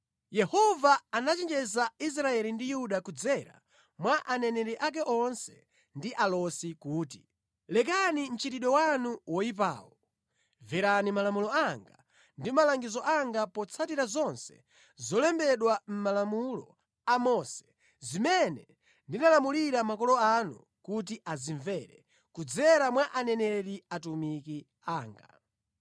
Yehova anachenjeza Israeli ndi Yuda kudzera mwa aneneri ake onse ndi alosi kuti, “Lekani mchitidwe wanu woyipawo. Mverani malamulo anga ndi malangizo anga potsatira zonse zolembedwa mʼmalamulo a Mose, zimene ndinalamulira makolo anu kuti azimvere, kudzera mwa aneneri, atumiki anga.”